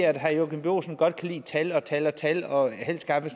at herre joachim b olsen godt kan lide tal og tal og tal og helst gerne